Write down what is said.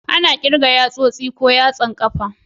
Ana kirga da yatsosi ko yatsan kafa.